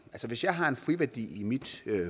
hvis jeg har en friværdi i mit